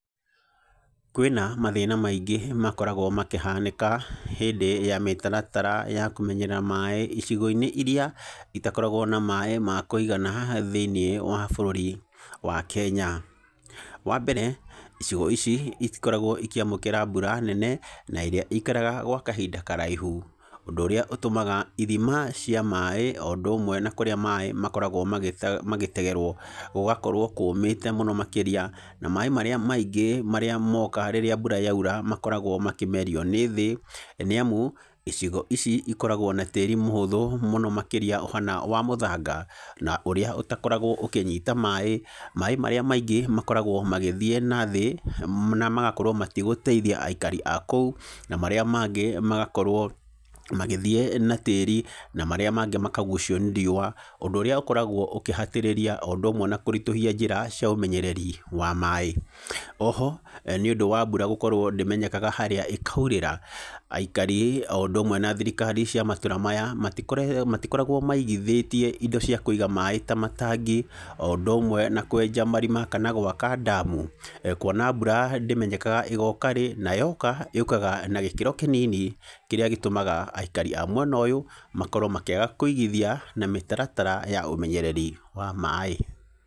Kwĩna mathĩna maingĩ makoragwo makĩhanĩka hĩndĩ ya mĩtaratara ya kũmenyerera maĩ icigo-inĩ iria itakoragwo na maĩ makwĩigana thĩinĩ wa bũrũri wa Kenya, wa mbere, icigo ici itikoragwo ikĩamũkĩra mbura nene, naĩrĩa ĩikaraga gwa kahinda karaihu, ũndũ ũrĩa ũtũmaga ithima cia maĩ, o ũndũ ũmwe nakũrĩa maĩ makoragwo magĩte magĩtegerwo gũgakorwo kũũmĩte mũno makĩria, na maĩ marĩa maingĩ marĩa moka rĩrĩa mbura yaira makoragwo makĩmerio nĩ thĩ, nĩ amu icigo ici ikoragwo na tĩri mũhũthũ mũno makĩria ũhana wa mũthanga, na ũrĩa ũtakoragwo ũkĩnyita maĩ, maĩ marĩa maingĩ makoragwo magĩthiĩ nathĩ, na magakorwo matigũteithia aikari akũu, na marĩa mangĩ magakorwo magĩthiĩ na tĩri, na marĩa mangĩ makagucio nĩ riũwa, ũndũ ũrĩa ũkoragwo ũkĩhatĩrĩria, o ũndũ ũmwe na kũritũhia njĩra cia ũmenyereri wa maĩ, oho, nĩ ũndũ wa mbura gũkorwo ndĩenyekaga harĩa ĩkairĩra, aikari o ũndũ ũmwe na thirikari cia matũra maya, matiko matikoragwo maigithĩtie indo cia kwĩiga maĩ ta matangi, o ũndũ ũmwe na kwenja marima kama gwaka ndamu, kuona mbura ndĩmenyekaga ĩgoka rĩ, na yoka yũkaga na gĩkĩro kĩnini, kĩrĩa gĩtũmaga aikari a mwena ũyũ makorwo makĩaga kũigithia na mĩtaratara ya ũmenyereri wa maĩ.